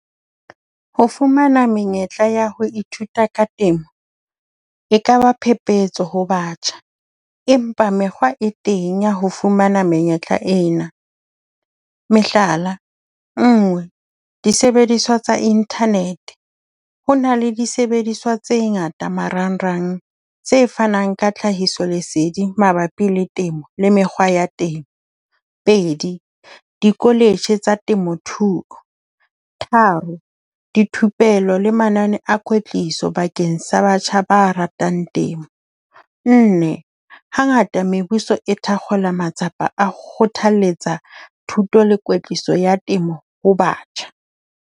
Ho fumana menyetla ya ho ithuta ka temo e kaba phephetso ho batjha. Empa mekgwa e teng ya ho fumana menyetla ena. Mehlala, nngwe, disebediswa tsa internet. Ho na le disebediswa tse ngata marangrang tse fanang ka tlhahiso leseding mabapi le temo le mekgwa ya teng. Pedi, di-college tsa temo thuo. Tharo, dithupelo le manane a kwetliso bakeng sa batjha ba ratang temo. Nne, hangata mebuso e thakgola matsapa a ho kgothaletsa thuto le kwetliso ya temo ho batjha.